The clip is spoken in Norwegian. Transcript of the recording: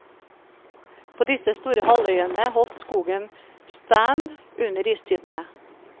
På disse store halvøyene holdt skogen stand under istidene.